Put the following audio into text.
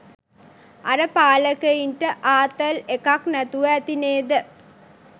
අර පාලකයින්ට ආතල් එකක් නැතුව ඇති නේද​?